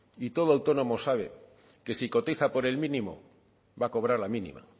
y todo autónomo sabe que si cotiza por el mínimo va a cobrar la mínima